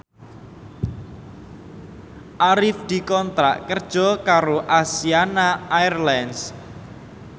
Arif dikontrak kerja karo Asiana Airlines